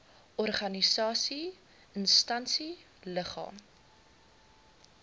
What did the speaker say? organisasie instansie liggaam